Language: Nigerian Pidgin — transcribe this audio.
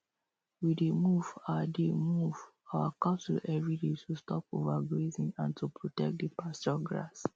we dey move our dey move our cattle everyday to stop overgrazing and to protect the pasture grass